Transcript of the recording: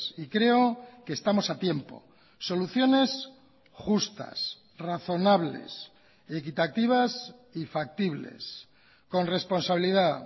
y creo que estamos a tiempo soluciones justas razonables equitativas y factibles con responsabilidad